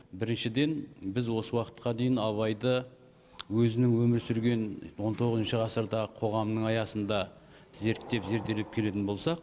біріншіден біз осы уақытқа дейін абайды өзінің өмір сүрген он тоғызыншы ғасырдағы қоғамның аясында зерттеп зерделеп келетін болсақ